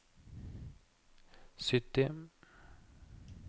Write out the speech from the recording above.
sytti